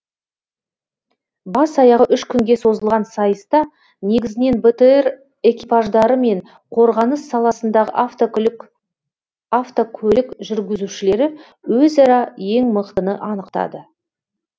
бас аяғы үш күнге созылған сайыста негізінен бтр экипаждары мен қорғаныс саласындағы автокөлік жүргізушілері өзара ең мықтыны анықтады